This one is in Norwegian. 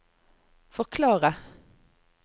forklare